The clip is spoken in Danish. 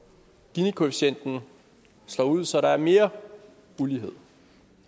ginikoefficienten slår ud så der er mere ulighed